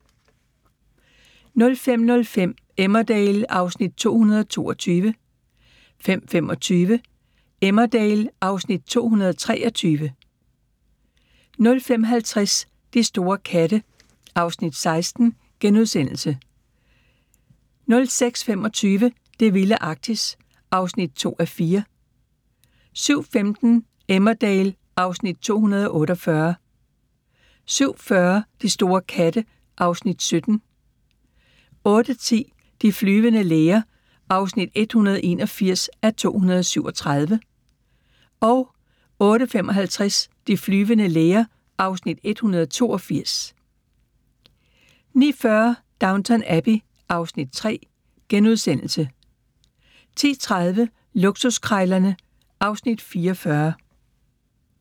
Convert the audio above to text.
05:05: Emmerdale (Afs. 222) 05:25: Emmerdale (Afs. 223) 05:50: De store katte (Afs. 16)* 06:25: Det vilde Arktis (2:4) 07:15: Emmerdale (Afs. 248) 07:40: De store katte (Afs. 17) 08:10: De flyvende læger (181:237) 08:55: De flyvende læger (182:237) 09:40: Downton Abbey (Afs. 3)* 10:30: Luksuskrejlerne (Afs. 44)